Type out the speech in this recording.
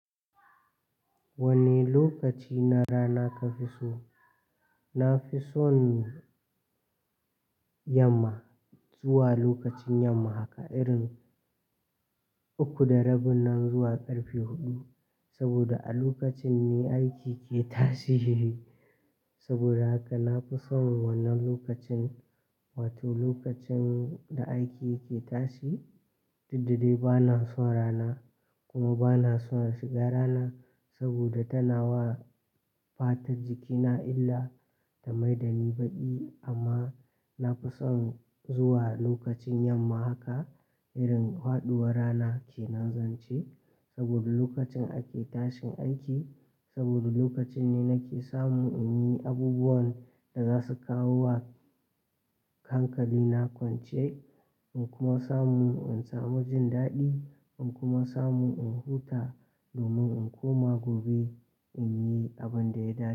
Wana lokaci na rana kafi so? Nafi son yamma, zuwa lokacin yamma haka irin, uku da rabin nan zuwa karfe huɗu. Sabida a lokacin ne aiki ke tashi, sabida haka nafi son wannan lokacin, wato lokacin da aiki yake tashi. Duk da dai bana son rana, kuma bana son shiga rana sabida tana wa fatar jikina illa, ta mai da ni baƙi. Amma nafi son zuwa lokacin yamma haka irin faɗuwar rana ke nan zan ce sabida lokacin ake tashin aiki sabida lokacin ne nake samun in yi abubuwan da za su kawo wa hankalina kwance, in kuma samu in samu jin daɗi in kuma samu in huta domin in koma gobe in yi abinda ya dace.